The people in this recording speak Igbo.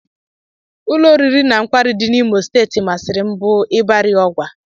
Ụlọoriri na nkwari dị n'Imo steeti masịrị m bụ Ibari Ogwa